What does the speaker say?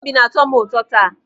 Obi na-atọ m ụtọ taa.